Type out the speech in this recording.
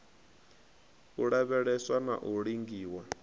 u lavheleswa na u lingiwa